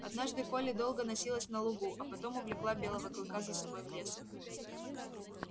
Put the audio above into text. однажды колли долго носилась но лугу а потом увлекла белого клыка за собой в лес